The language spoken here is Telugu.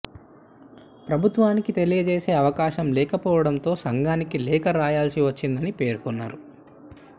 ప్రభుత్వానికి తెలియజేసే అవకాశం లేకపోవడంతో సంఘానికి లేఖ రాయాల్సి వచ్చిందని పేర్కొన్నారు